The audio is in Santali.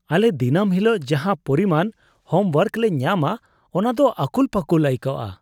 ᱟᱞᱮ ᱫᱤᱱᱟᱹᱢ ᱦᱤᱞᱳᱜ ᱡᱟᱦᱟᱸ ᱯᱚᱨᱤᱢᱟᱱ ᱦᱳᱢᱣᱳᱨᱠ ᱞᱮ ᱧᱟᱢᱟ ᱚᱱᱟ ᱫᱚ ᱟᱹᱠᱩᱞ ᱯᱟᱹᱠᱩᱞ ᱟᱹᱭᱠᱟᱜᱼᱟ ᱾